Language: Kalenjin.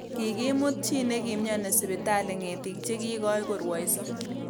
Kikimut chi nekimnyoni sipitali ngetik che kikoi korwoiso